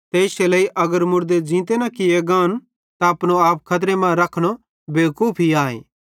ते इश्शे लेइ अगर मुड़दे ज़ींते किये गान त अपनो आप खतरे मां रखनो बेवकूफी आए